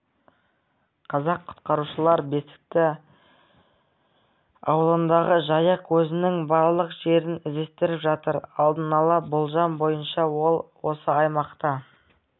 қазір құтқарушылар бесікті ауылындағы жайық өзінің барлық жерін іздестіріп жатыр алдын-ала болжам бойынша ол осы аймақта